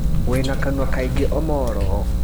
Wĩna Kanua kaingĩ Omolo.